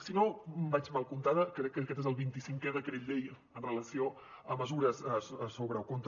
si no vaig mal comptada crec que aquest és el vint i cinquè decret llei amb relació a mesures sobre o contra